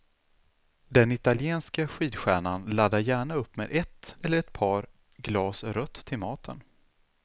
Den italienske skidstjärnan laddar gärna upp med ett, eller ett par, glas rött till maten.